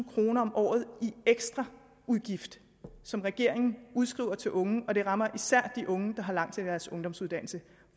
kroner om året i ekstra udgift som regeringen udskriver til unge og det rammer især de unge der har langt til deres ungdomsuddannelse